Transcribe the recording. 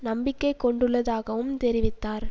நம்பிக்கை கொண்டுள்ளதாகவும் தெரிவித்தார்